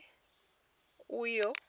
uḓo